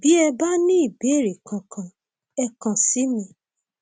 bí ẹ bá ní ìbéèrè kankan ẹ kàn sí mi